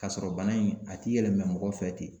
Ka sɔrɔ bana in a ti yɛlɛma mɔgɔ fɛ ten